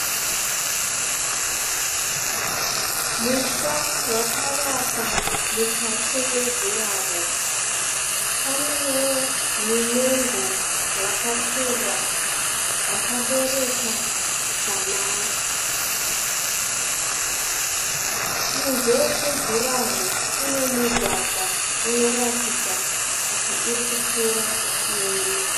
Musha wakavakwa mukati mejuraho. Panewo mimengo yakakura yakabereka samare. Kunze kwejuraho kune mugwavha unoratidza kuti uri kupfuura uchienda.